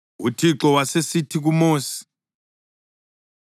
UThixo wasesithi kuMosi,